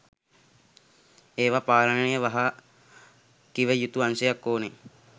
එවා පාලනයට වහ කිව යුතු අංශයක් ඕන.